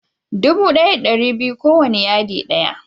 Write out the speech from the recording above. Dubu ɗaya da ɗari biyu ko wanna yadi ɗaya.